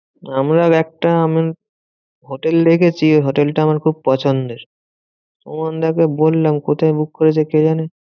আমরাও একটা হোটেল দেখেছি ওই হোটেলটা আমার খুব পছন্দের। সুমানদা কে বললাম, কোথায় book করেছে? কে জানে?